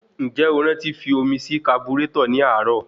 Ǹjẹ́ o rántí fi omi sí kaburétọ̀ ní àárọ̀?